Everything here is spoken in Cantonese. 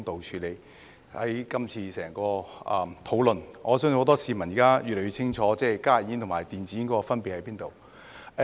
就今次整項討論，我相信很多市民現在越來越清楚加熱煙和電子煙的分別在哪。